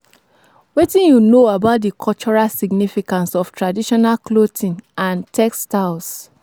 Wetin you know about di cultural significance of traditional clothing and textiles?